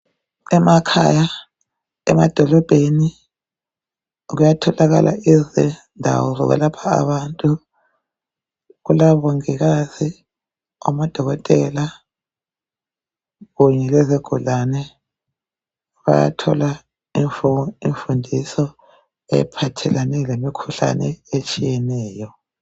Emakhaya, emadolobheni kuyatholakala izindawo zokwelapha abantu. Kulabongikazi amadokotela kunye lezigulane bayathola imfundiso ephathelane lemikhuhlane etshiyeneyo.